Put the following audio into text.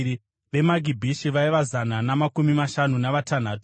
veMagibhishi vaiva zana namakumi mashanu navatanhatu;